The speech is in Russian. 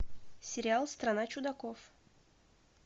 сериал страна чудаков